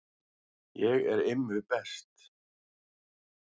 Ég er Immi best